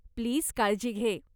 Please काळजी घे.